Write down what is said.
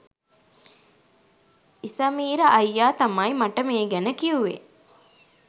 ඉසමීර අයියා තමයි මට මේ ගැන කිවුවේ